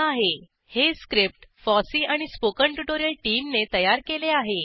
httpspoken tutorialorgNMEICT Intro हे script FOSSEE आणि spoken tutorial टीमने तयार केले आहे